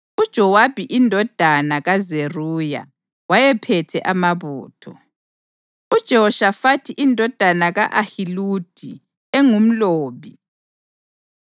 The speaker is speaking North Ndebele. UJowabi indodana kaZeruya wayephethe amabutho; uJehoshafathi indodana ka-Ahiludi engumlobi,